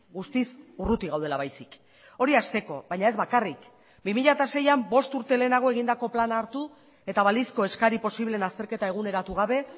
guztiz urruti gaudela baizik hori hasteko baina ez bakarrik bi mila seian bost urte lehenago egindako plana hartu eta balizko eskari posibleen azterketa eguneratu gabe